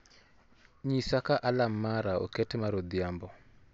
nyisa ka alarm mara oket mar odhiambo